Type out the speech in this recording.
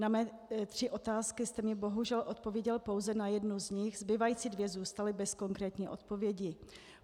Na mé tři otázky jste mi bohužel odpověděl pouze na jednu z nich, zbývající dvě zůstaly bez konkrétní odpovědi.